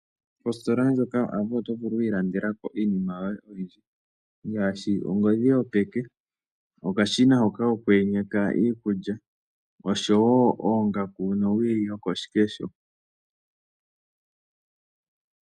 Kositola ndjoka yoAvo oto vulu oku ilandekako iinima yoye ngaashi ongodhi yopeke, owili yokoshikesho, omasiga kokuyenyeka iikulya noongaku.